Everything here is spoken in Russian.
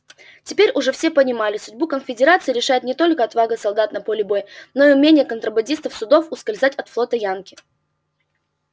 теперь уже все понимали судьбу конфедерации решает не только отвага солдат на поле боя но и умение контрабандистских судов ускользать от флота янки